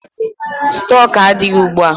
Stọk adịghị ugbua.